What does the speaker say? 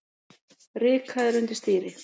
Rykaðir undir stýri